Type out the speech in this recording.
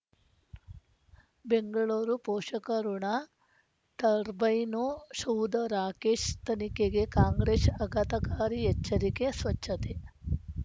ಬೆಂಗಳೂರು ಪೋಷಕಋಣ ಟರ್ಬೈನು ಶಾಧ ರಾಕೇಶ್ ತನಿಖೆಗೆ ಕಾಂಗ್ರೆಶ್ ಆಘಾತಕಾರಿ ಎಚ್ಚರಿಕೆ ಸ್ವಚ್ಛತೆ